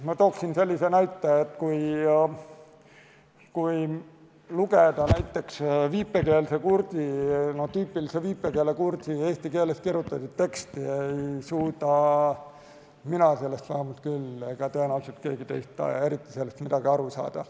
Ma toon sellise näite, et kui lugeda näiteks tüüpilise viipekeelse kurdi eesti keeles kirjutatud teksti, ei suuda mina vähemalt küll ega tõenäoliselt keegi teist sellest eriti midagi aru saada.